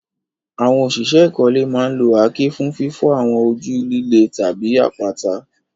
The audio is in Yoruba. Àwọn òṣìṣẹ́ ìkọ́lé máa ń lo àáké fún fífọ́ àwọn ojú líle tàbí àpáta.